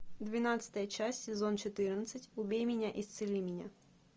двенадцатая часть сезон четырнадцать убей меня исцели меня